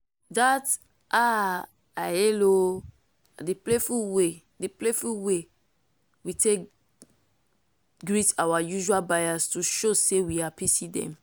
that “ah i hail o!” na the playful way the playful way we take greet our usual buyers to show say we happy see them.